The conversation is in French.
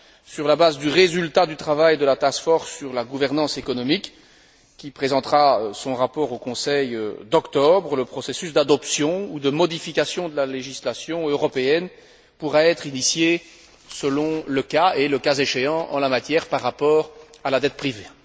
Sur la base du résultat du travail de la sur la gouvernance économique, qui présentera son rapport au Conseil d'octobre, le processus d'adoption ou de modification de la législation européenne pourra être initié selon le cas et, le cas échéant, en la matière par rapport à la dette privée.